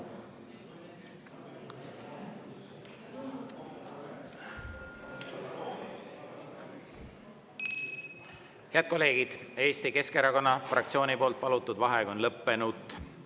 Head kolleegid, Eesti Keskerakonna fraktsiooni palutud vaheaeg on lõppenud.